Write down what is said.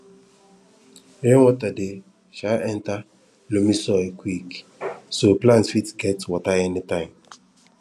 rainwater dey um enter loamy soil quick so plant fit get water anytime